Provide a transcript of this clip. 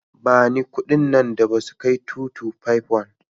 Bani kudin nan da ba su kai 2251.